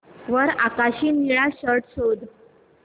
वर आकाशी निळा शर्ट शोध